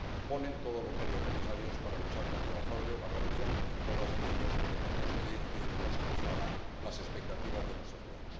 ponen todos los medios necesarios para luchar contra el fraude y la corrupción y todos aquellos elementos que no satisfagan las expectativas de nuestros ciudadanos.